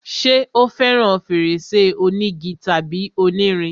ṣé o fẹràn fèrèsé onígi tàbí onírin?